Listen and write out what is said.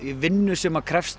vinnu sem krefst